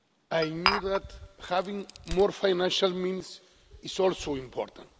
I knew that having more financial means is also important.